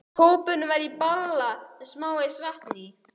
Kópurinn var í bala með smávegis vatni í.